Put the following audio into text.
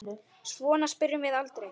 Svona spyrjum við aldrei.